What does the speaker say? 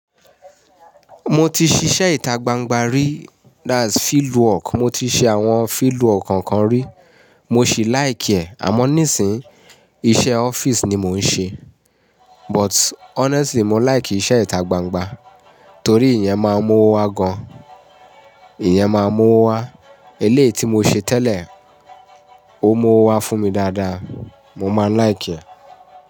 Mo ti ṣiṣẹ́ ìtagbangba rí, that's fieldwork. Mo ti ṣe àwọn fieldwork kan kan rí, mo ṣì like ẹ̀. Àmọ́ nísìnyí, iṣẹ́ office ni mò ń ṣe. But honestly, mo like iṣẹ́ ìtagbangba torí ìyẹn máa ń mú owó wá gan-an. Ìyẹn máa ń mú owó wá. Eléyìí tí mo ṣe tẹ́lẹ̀, ó mú owó wá fún mi dáadáa. Mo máa like ẹ̀